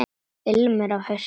Ilmur af hausti!